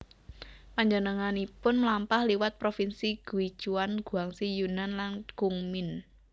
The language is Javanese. Panjenenganipun mlampah liwat provinsi Guichuan Guangxi Yunnan lan Kunming